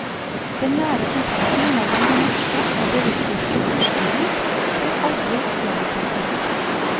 Den nære kontakten mellom det norske og det russiske fyrstehus blir aldri gjenopprettet.